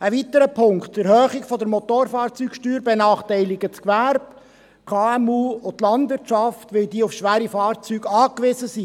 Ein weiterer Punkt: Die Erhöhung der Motorfahrzeugsteuer benachteilige das Gewerbe, die KMU und die Landwirtschaft, weil diese auf schwere Fahrzeuge angewiesen seien.